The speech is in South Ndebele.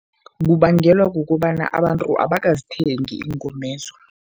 Kubangelwa kukobana abantu abakazithengi iingomezo.